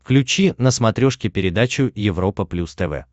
включи на смотрешке передачу европа плюс тв